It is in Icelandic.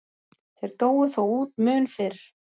Þeir dóu þó út mun fyrr.